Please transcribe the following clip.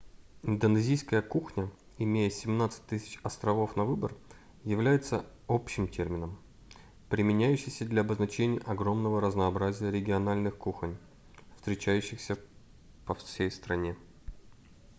индонезийская кухня имея 17 000 островов на выбор является общим термином применяющийся для обозначения огромного разнообразия региональных кухонь встречающиеся по всей стране